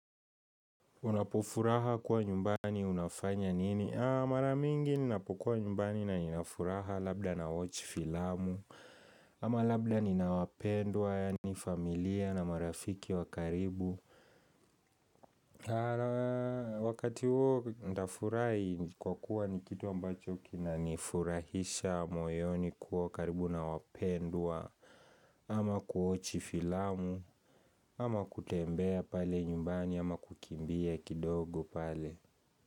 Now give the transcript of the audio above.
Unapofuraha kuwa nyumbani unafanya nini? Mara mingi ninapokuwa nyumbani na nina furaha labda nawatch filamu ama labda nina wapendwa yaani familia na marafiki wa karibu Wakati huo ndafurai kwa kuwa ni kitu ambacho kinanifurahisha moyoni kuwa karibu na wapendwa ama kuwatch filamu, ama kutembea pale nyumbani ama kukimbia kidogo pale.